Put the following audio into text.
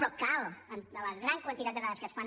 però de la gran quantitat de dades que es fan